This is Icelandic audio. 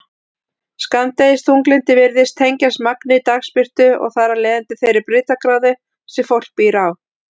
Skammdegisþunglyndi virðist tengjast magni dagsbirtu og þar af leiðandi þeirri breiddargráðu sem fólk býr á.